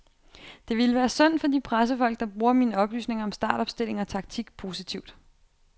Det ville være synd for de pressefolk, der bruger mine oplysninger om startopstilling og taktik positivt.